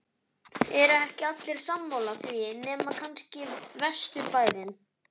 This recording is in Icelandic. eru ekki allir sammála því nema kannski vesturbærinn?